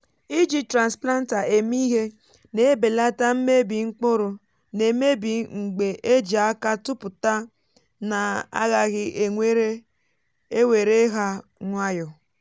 iji transplanter eme ihe na ebelata mmebi mkpụrụ nà emebi mgbè e ji aka tụpụta n’agaghị ewere ha nwayọ.